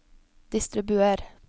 distribuer